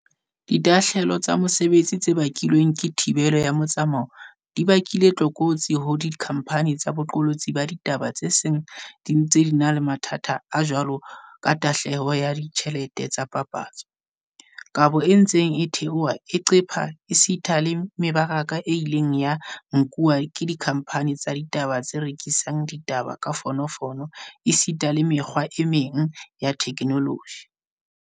Ditahlehelo tsa mesebetsi tse bakilweng ke thibelo ya metsamao di bakile tlokotsi ho dikhamphani tsa boqolotsi ba ditaba tse seng di ntse di na le mathata a jwaloka tahlehelo ya ditjhelete tsa dipapatso, kabo e ntseng e theoha e qepha esita le me baraka e ileng ya nkuwa ke dikhamphani tsa ditaba tse rekisang ditaba ka difono fono esita le mekgwa e meng ya theknoloji.